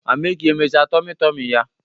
Amake emechaa tomi tomi ya?